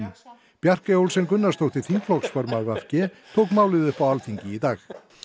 Bjarkey Olsen Gunnarsdóttir þingflokksformaður v g tók málið upp á Alþingi í dag